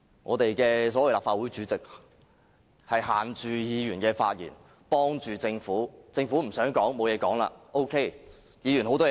我們的所謂立法會主席限制議員發言，袒護政府，當政府不想發言時 ，OK； 議員有很多話想說？